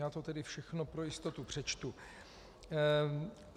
Já to tedy všechno pro jistotu přečtu.